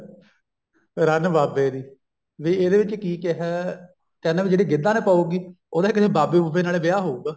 ਰੰਨ ਬਾਬੇ ਦੀ ਨਹੀਂ ਇਹਦੇ ਵਿੱਚ ਕੀ ਕਿਹਾ ਕਹਿੰਦਾ ਵੀ ਜੇ ਗਿੱਧਾ ਨੀ ਪਾਊਂਗੀ ਉਹਦਾ ਕਿਸੇ ਬਾਬੇ ਬੁਬੇ ਨਾਲ ਵਿਆਹ ਹੋਊਗਾ